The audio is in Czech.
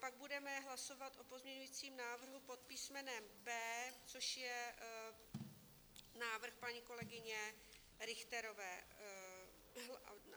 Pak budeme hlasovat o pozměňovacím návrhu pod písmenem B, což je návrh paní kolegyně Richterové.